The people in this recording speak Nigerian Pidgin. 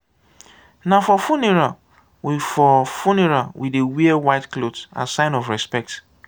na for funeral we for funeral we dey wear white cloth as sign of respect.